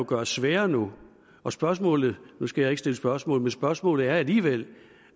gøres sværere nu og spørgsmålet nu skal jeg ikke stille spørgsmål spørgsmål er alligevel